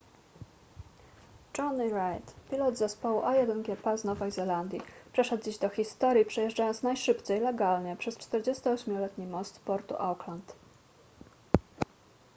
jonny reid pilot zespołu a1gp z nowej zelandii przeszedł dziś do historii przejeżdżając najszybciej legalnie przez 48-letni most portu auckland